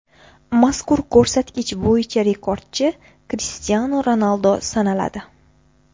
Mazkur ko‘rsatkich bo‘yicha rekordchi Krishtianu Ronaldu sanaladi.